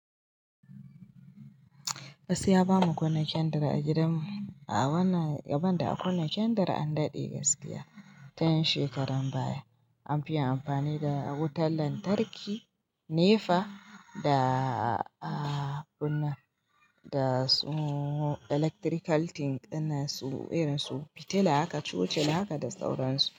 Gaskiya bamu kunna kyandari a gidan mu, a wannan yaban da a kunne kyandari an daɗe gaskiya, tayan shekaran baya. Anfi yin amfani da wutan lantarki, nefa da kunna. Da su electrical thing dinnan su, irin su fitila haka, cucila haka da sauran su.